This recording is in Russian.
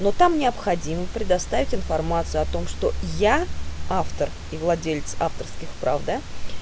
но там необходимо предоставить информацию о том что я автор и владелец авторских прав да